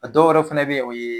A dɔwɛrɛw fɛnɛ be yen, o ye